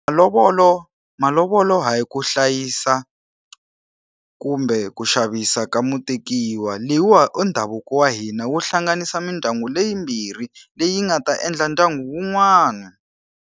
Malovolo hayi ku hlayisa kumbe ku xavisiwa ka mutekiwa. Leyiwani i ndhavuko wa hina wu hlanganisa mindyangu leyi yimbirhi, leyi nga ta endla ndyangu wun'wana.